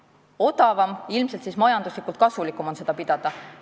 Kuna see on odavam, siis ilmselt on majanduslikult kasulikum seda pidada.